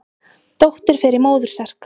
Dóttir fer í móður serk.